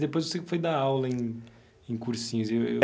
Depois você foi dar aula em em cursinhos, e eu.